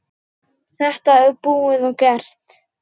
Þetta er búið og gert.